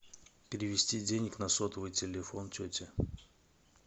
перевести денег на сотовый телефон тети